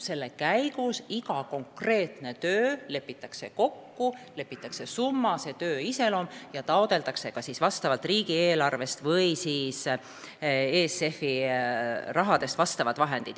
Selle raames lepitakse kokku iga konkreetse töö summa ja töö iseloom ning taotletakse riigieelarvest või siis ESF-ist vajalikud vahendid.